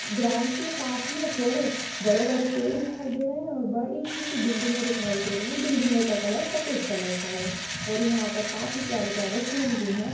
Ground के पास में थोड़े बड़े-बड़े पेड़ दिखाई दे रहे हैं और बड़ी सी बिल्डिंगे दिखाई दे रहीं हैं। बिल्डिंगो का कलर सपेद कलर का है और यहाँ पर काफी प्यारे-प्यारे फूल भी हैं।